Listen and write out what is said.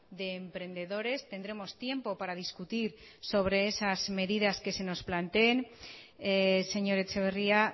de emprendedores tendremos tiempo para discutir sobre esas medidas que se nos planteen señor etxeberria